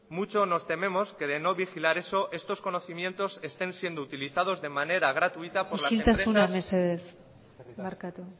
mucho nos tememos que de no vigilar eso estos conocimientos estén siendo utilizados de manera gratuita por las empresas